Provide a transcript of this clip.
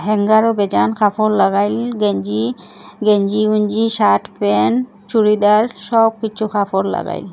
হ্যাঙ্গারো বেজান কাপড় লাগাইল গেঞ্জি গেঞ্জি গুঞ্জি শার্ট প্যান্ট চুরিদার সবকিছু কাপড় লাগাইল।